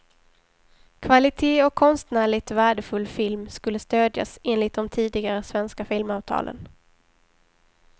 Kvalitet och konstnärligt värdefull film skulle stödjas enligt de tidigare svenska filmavtalen.